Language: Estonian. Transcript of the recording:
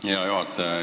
Aitäh, hea juhataja!